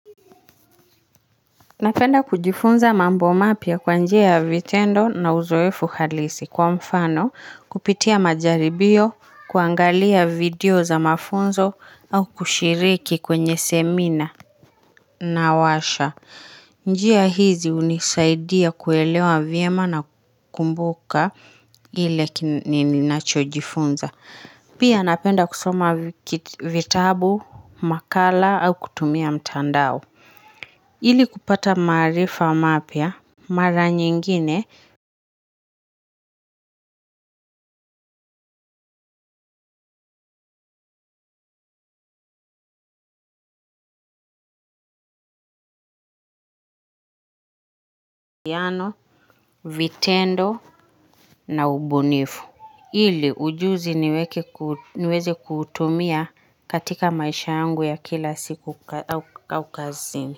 Napenda kujifunza mambo mapya kwa njia ya vitendo na uzoefu halisi kwa mfano, kupitia majaribio, kuangalia video za mafunzo au kushiriki kwenye semina na washa. Njia hizi hunisaidia kuelewa vyema na kukumbuka ile ninachojifunza. Pia napenda kusoma vitabu, makala au kutumia mtandao. Ili kupata maarifa mapya mara nyingine yana vitendo na ubunifu ili ujuzi niweze kuutumia katika maisha yangu ya kila siku au kazini.